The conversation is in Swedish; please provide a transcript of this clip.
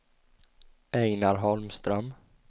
Einar Holmström